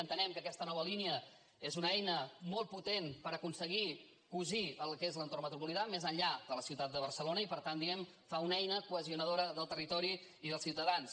entenem que aquesta nova línia és una eina molt potent per aconseguir cosir el que és l’entorn metropolità més enllà de la ciutat de barcelona i per tant diguem fa una eina cohesionadora del territori i dels ciutadans